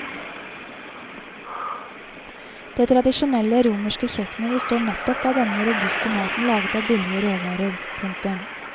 Det tradisjonelle romerske kjøkkenet består nettopp av denne robuste maten laget av billige råvarer. punktum